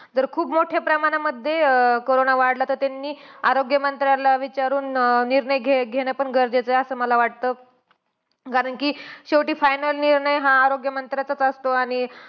जर खूप मोठ्या प्रमाणामध्ये अं कोरोना वाढला, तर त्यांनी आरोग्य मंत्र्याला विचारून अं निर्णय घे घेणं पण गरजेचं आहे, असं मला वाटतं. कारण कि शेवटी final निर्णय हा आरोग्यमंत्र्याचाचं असतो. आणि